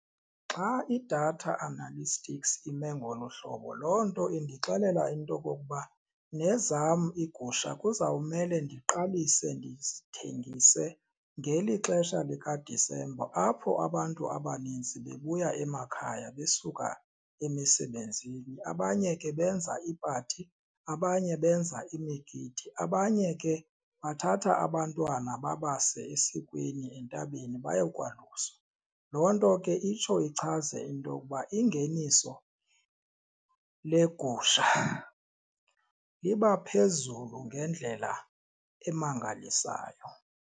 Xa idatha analytics ime ngolo hlobo loo nto indixelele into okokuba nezam iigusha kuzomele ndiqalise ndizithengise ngeli xesha likaDisemba apho abantu abanintsi bebuya emakhaya besuka emisebenzini, abanye ke benza iipati abanye, benza imigidi abanye ke bathatha abantwana babase esikweni entabeni bayokwaluswa. Loo nto ke itsho ichaze intokuba ingeniso legusha iba phezulu ngendlela emangalisayo.